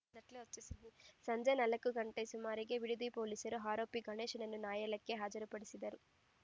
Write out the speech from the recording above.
ಸಂಜೆ ನಾಲ್ಕು ಗಂಟೆ ಸುಮಾರಿಗೆ ಬಿಡದಿ ಪೊಲೀಸರು ಆರೋಪಿ ಗಣೇಶನನ್ನು ನ್ಯಾಯಾಲಯಕ್ಕೆ ಹಾಜರುಪಡಿಸಿದರು